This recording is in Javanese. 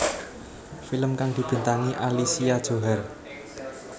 Film kang dibintangi Alicia Johar